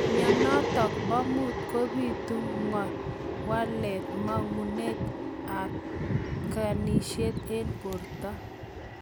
Mionitok poo muut kobituu ngowalak mangunet ap ginisiek eng porto.